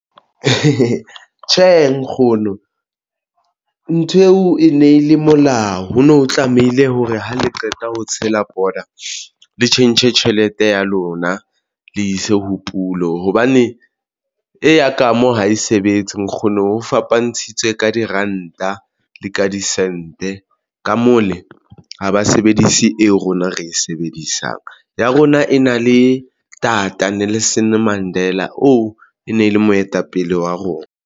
Tjhe, nkgono nthweo e ne le molao ho no tlamehile hore ha le qeta ho tshela pota le tjhentjhe tjhelete ya lona le ise ho pulo, hobane eya ka mo ha e sebetse nkgono fapantshitswe ka diranta le ka disente ka mole ha ba sebedise eo rona re e sebedisang ya rona ena le Tata Nelson Mandela oo e ne le moetapele wa rona.